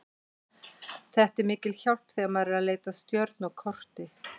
Þetta er mikil hjálp þegar maður er að leita að stjörnu á korti.